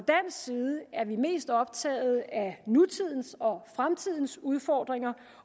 side er vi mest optaget af nutidens og fremtidens udfordringer